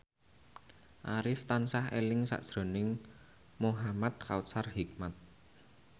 Arif tansah eling sakjroning Muhamad Kautsar Hikmat